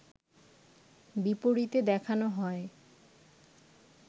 বিপরীতে দেখানো হয়